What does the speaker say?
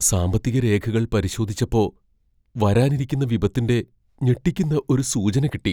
സാമ്പത്തിക രേഖകൾ പരിശോധിച്ചപ്പോ , വരാനിരിക്കുന്ന വിപത്തിന്റെ ഞെട്ടിക്കുന്ന ഒരു സൂചന കിട്ടി.